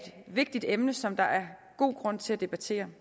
vigtigt emne som der er god grund til at debattere